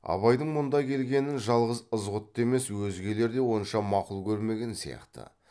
абайдың мұнда келгенін жалғыз ызғұтты емес өзгелер де онша мақұл көрмеген сияқты